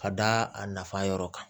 Ka da a nafa yɔrɔ kan